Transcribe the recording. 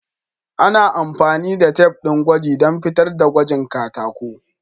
Ana amfani da tif din gwaji dan fitar da gwada katako.